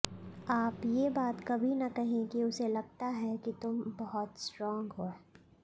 आप ये बात कभी न कहें कि उसे लगता है कि तुम बहुत स्ट्रांग है